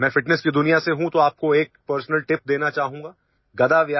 میں فٹنس کی دنیا سے ہوں، اس لیے میں آپ کو ایک ذاتی ٹپ دینا چاہوں گا